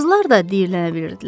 Qızlar da diyirlənə bilirdilər.